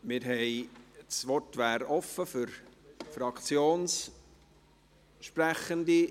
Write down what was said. Das Wort ist offen für Fraktionssprechende.